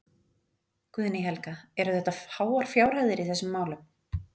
Guðný Helga: Eru þetta háar fjárhæðir í þessum málum?